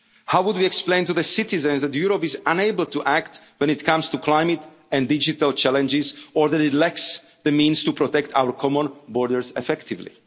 no cohesion money? How would we explain to the citizens that Europe is unable to act when it comes to climate and digital challenges, or that it lacks the means to protect our common borders